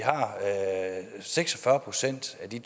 seks og fyrre procent af de